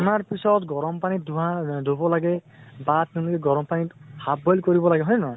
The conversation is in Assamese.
অনাৰ পিছত গৰম পানীত ধোৱা ধুব লাগে। বা তুমি গৰম পানীত half boil কৰিব লাগে, হয় নে নহয়?